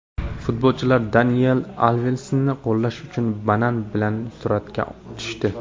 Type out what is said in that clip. Futbolchilar Daniel Alvesni qo‘llash uchun banan bilan suratga tushdi .